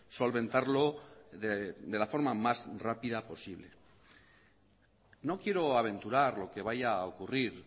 solventarlo de la forma más rápida posible no quiero aventurar lo que vaya a ocurrir